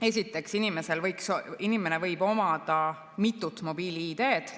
Esiteks, inimene võib omada mitut mobiil‑ID‑d.